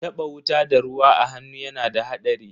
Taba wuta da ruwa a hannu yana da hadari.